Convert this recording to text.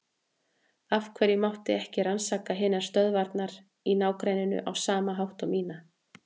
Af hverju mátti ekki rannsaka hinar stöðvarnar í ná- grenninu á sama hátt og mína?